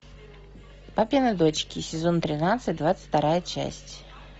папины дочки сезон тринадцать двадцать вторая часть